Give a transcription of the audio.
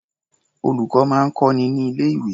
Olùkọ́ máa ń kọ́ni ní ilé-̀wé.